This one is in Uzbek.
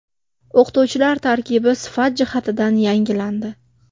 O‘qituvchilar tarkibi sifat jihatidan yangilandi.